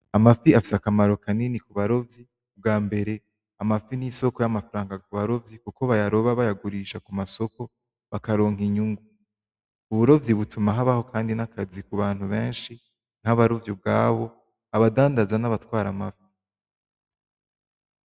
Amafi afise akamaro kanini ku barovyi, bgambere amafi n'isoko ryamafaranga ku barovyi kuko bayaroba bayagurisha ku masoko bakaronka inyungu uburovyi butuma habaho kandi nakazi kubantu benshi nkabarovyi ubgabo, abadandaza nabatwara amafi .